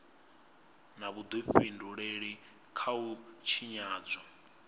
na vhudifhinduleli kha u tshinyadzwa